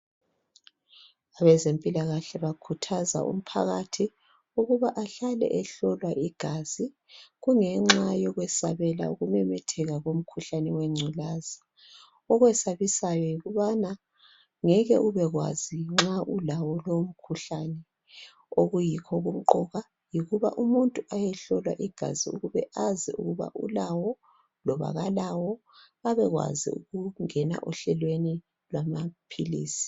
Abezempilakahle bakhuthazwa umphakathi ukuba ahlale ehlolwa igazi. Kungenxa yokwesabela ukumemetheka komkhuhlane wengculaza. Okwesabisayo yokubana ngeke ubekwazi nxa ulawo lowo mkhuhlane .Okuyikho okumqoka yokuba umuntu ayehlolwa igazi ukube azi ukube ulawo loba kalawo. Abekwazi ukungena ehlelweni lamaphilisi.